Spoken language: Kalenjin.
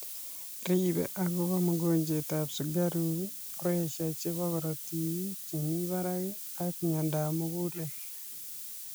Riibe agobaa mogonjwet ab sukaruk pressure chebaa korotik chemii baraak ak monyadap mugulel